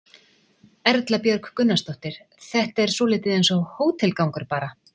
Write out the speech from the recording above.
Erla Björg Gunnarsdóttir: Þetta er svolítið eins og hótelgangur bara?